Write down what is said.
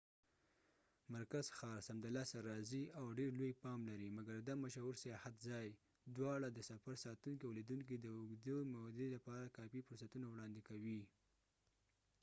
مرکز ښار سمدلاسه رازې او ډير لوې پام لرې مګر دا مشهور سیاحت ځای دواړه د سفر ساتونکي او لیدونکي د اوږدې مودې لپاره کافی فرصتونه وړاندې کوي